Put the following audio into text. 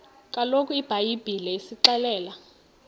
kaloku ibhayibhile isixelela